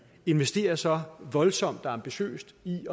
investerer så voldsomt og ambitiøst i